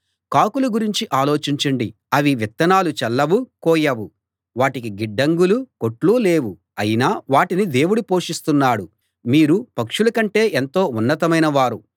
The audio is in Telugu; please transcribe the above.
కాకుల గురించి ఆలోచించండి అవి విత్తనాలు చల్లవు కోయవు వాటికి గిడ్డంగులూ కొట్లూ లేవు అయినా వాటిని దేవుడు పోషిస్తున్నాడు మీరు పక్షులకంటే ఎంతో ఉన్నతమైన వారు